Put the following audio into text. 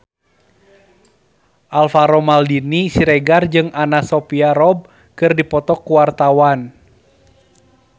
Alvaro Maldini Siregar jeung Anna Sophia Robb keur dipoto ku wartawan